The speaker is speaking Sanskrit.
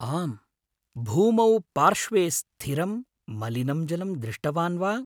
आम्, भूमौ पार्श्वे स्थिरं मलिनं जलं दृष्टवान् वा?